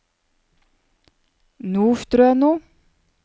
Nordstrøno